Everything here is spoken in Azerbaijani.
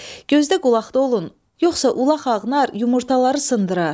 Gözdə qulaqda olun, yoxsa ulaq ağnar yumurtaları sındırar.